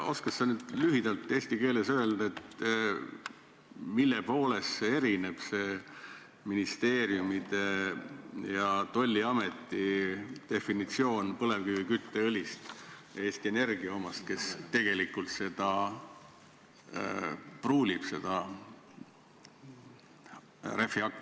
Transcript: Oskad sa lühidalt eesti keeles öelda, mille poolest erineb ministeeriumide ja tolliameti põlevkivikütteõli definitsioon Eesti Energia omast, kes tegelikult seda õli rehvihakkest pruulib?